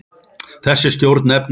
Þessi stjórn nefnist